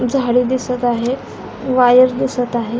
झाडे दिसत आहे वायर दिसत आहे.